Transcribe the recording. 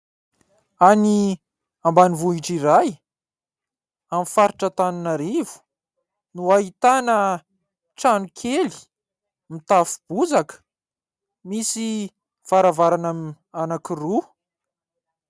Any ambanivohitra iray, amin'ny faritra Antananarivo, no ahitana trano kely mitafo bozaka misy varavarana anankiroa.